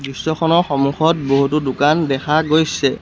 দৃশ্যখনৰ সমুখত বহুতো দোকান দেখা গৈছে।